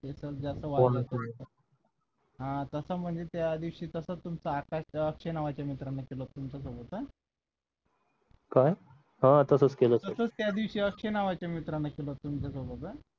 हा तसं म्हणजे त्या दिवशी तसं तुमचं आकाश अक्षय नावाचा मित्र तुमच्यासोबत काय तसंच केलं असेल तसंच त्या दिवशी अक्षय नावाचा मित्रांनी सुद्धा तुमच्या सोबत हा